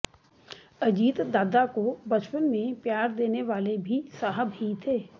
अजीत दादा को बचपन में प्यार देने वाले भी साहब ही थे